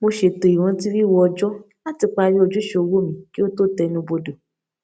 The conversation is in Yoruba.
mo ṣètò ìrántí wíwo ọjọ láti parí ojúṣe owó mi kí ó tó tẹnubodò